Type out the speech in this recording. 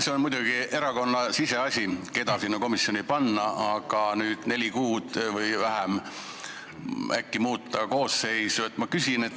See on muidugi erakonna siseasi, keda sinna komisjoni panna, aga miks neli kuud või isegi vähem enne töö lõppu äkki koosseisu muuta?